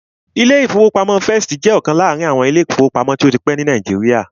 Ilé-ìfowópamọ́sí First jẹ́ ọ̀kan láàrin àwọn ilé-ìfowópamọ́sí tó ti pẹ́ ní Nàìjíríà